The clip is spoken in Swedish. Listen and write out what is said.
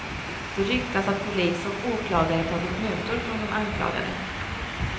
Det ryktas att polis och åklagare tagit mutor från de anklagade.